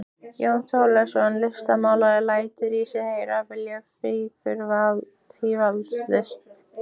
Jón Þorleifsson listmálari lætur í sér heyra, vill fígúratíva list.